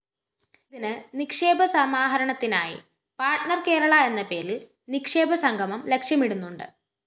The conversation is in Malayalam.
ഇതിന്‌ നിക്ഷേപ സമാഹരണത്തിനായി പാർട്ണർ കേരള എന്നപേരില്‍ നിക്ഷേപസംഗമം ലക്ഷ്യമിടുന്നുണ്ട്‌